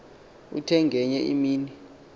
uthe ngenye imini